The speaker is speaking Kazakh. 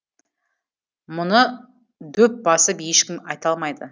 мұны дөп басып ешкім айта алмайды